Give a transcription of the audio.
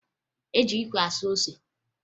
E ji ikwe asụ ose